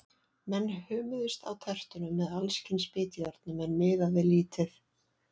Menn hömuðust á tertunum með alls kyns bitjárnum, en miðaði lítið.